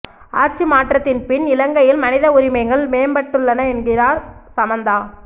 ஆட்சி மாற்றத்தின் பின் இலங்கையில் மனித உரிமைகள் மேம்பட்டுள்ளன என்கிறார் சமந்தா